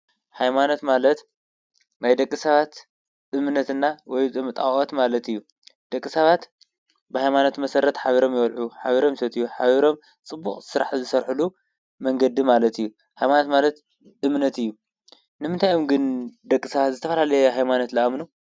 ኃይማነት ማለት ናይ ደቂ ሰባት እምነትና ወይጣዖት ማለት እዩ ።ደቂ ሳባት ብኃይማኖት መሠረት ኃቢሮም የወልዑ ኃቢሮም ሴት እዩ ኃቢሮም ጽቡቕ ሥራሕ ዝሠርሕሉ መንገዲ ማለት እዩ። ኃይማነት ማለት ድምነት እዩ ንምታይኦም ግን ደቂ ሳባት ዝተፋላለየ ኃይማነት ለኣምኑ?